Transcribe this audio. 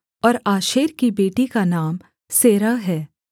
और आशेर की बेटी का नाम सेरह है